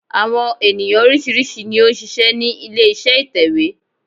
Àwọn ènìyàn oríṣìíríṣìí ni ó n ṣiṣẹ́ ní ilé iṣẹ́ ìtẹ̀wé